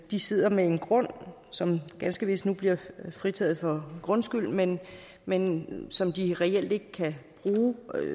de sidder med en grund som ganske vist nu bliver fritaget for grundskyld men men som de reelt ikke kan bruge